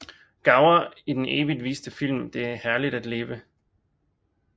Gower i den evigt viste film Det er herligt at leve